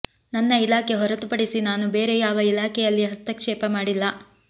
ನನ್ನ ಇಲಾಖೆ ಹೊರತುಪಡಿಸಿ ನಾನು ಬೇರೆ ಯಾವ ಇಲಾಖೆಯಲ್ಲಿ ಹಸ್ತಕ್ಷೇಪ ಮಾಡಿಲ್ಲ